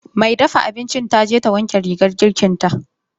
mai dafa abincin taje ta wanke rigar girkinta.